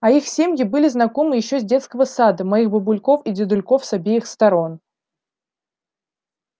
а их семьи были знакомы ещё с детского сада моих бабульков и дедульков с обеих сторон